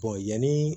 yanni